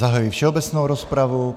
Zahajuji všeobecnou rozpravu.